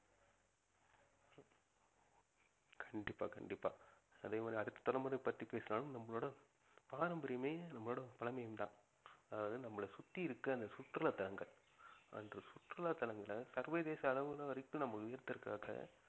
கண்டிப்பா கண்டிப்பா அதே மாதிரி அடுத்த தலைமுறை பத்தி பேசலாம் நம்மளோட பாரம்பரியமே நம்மளோட பழமையும் தான் அதாவது நம்மள சுத்தி இருக்க அந்த சுற்றுலா தலங்கள் அந்த சுற்றுலா தலங்கள்ல சர்வதேச அளவுல வரைக்கும் நம்ம உயர்த்துவதற்காக